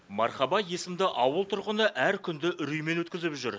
мархаба есімді ауыл тұрғыны әр күнді үреймен өткізіп жүр